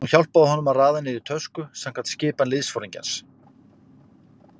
Hún hjálpaði honum að raða niður í tösku samkvæmt skipan liðsforingjans.